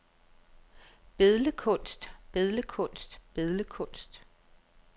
billedkunst billedkunst billedkunst